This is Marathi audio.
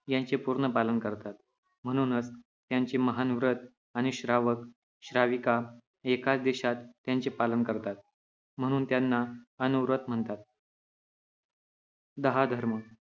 त्यांचे पूर्ण पालन करतात, म्हणूनच त्यांचे महान व्रत आणि श्रावक, श्राविका एकाच देशात त्यांचे पालन करतात, म्हणून त्यांना अनुव्रत म्हणतात. दहा धर्म